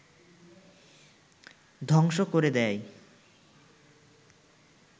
ধ্বংস করে দেয়